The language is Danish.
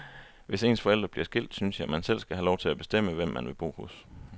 Hvis ens forældre bliver skilt, synes jeg, at man selv skal have lov til at bestemme, hvem man vil bo hos.